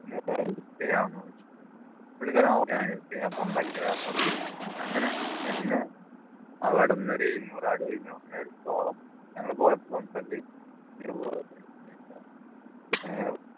പുള്ളിക്കാരൻ ആ okay help ചെയ്യാം ഞാൻ കൊണ്ടാക്കി തരാം എന്ന് പറഞ്ഞു അങ്ങനെ എന്നെ അവിടുന്ന് ഒരു എഴുനൂറ് അടി ഞങ്ങള് പോയപ്പോൾ ഏർ